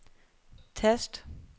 tast